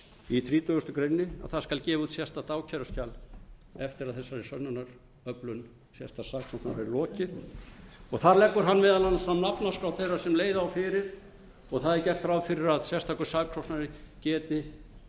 í þrítugustu greinar að það skal gefið út sérstakt ákæruskjal eftir að þessari sönnunaröflun sérstaks saksóknara er lokið þar leggur hann meðal annars fram nafnaskrá þeirra sem leiða á fyrir og það er gert ráð fyrir að sérstakur saksóknari geti